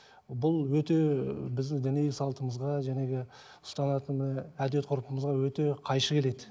бұл өте ы біздің діни салтымызға ұстанатын і әдет ғұрпымызға өте қайшы келеді